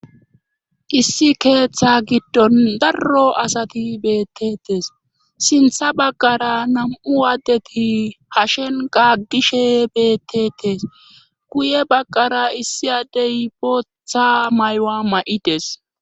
Issi keeththa giddon darro asati beettetes sintha baggara nam7u addeti hashen gaggishe beettetes guye baggara issi adey botha maywa ma7ides